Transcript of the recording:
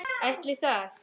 Ætli það?